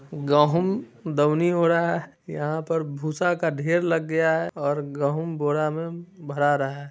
गहूँ डउडी हो रहा है। यहाँ पर भूसा का ढेर लग गया है और गहूँ बोरा में भरा रहा है।